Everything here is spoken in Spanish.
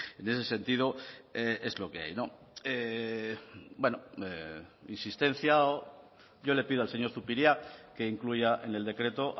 en ese sentido es lo que hay no bueno insistencia o yo le pido al señor zupiria que incluya en el decreto